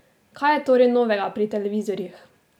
Kaj je torej novega pri televizorjih?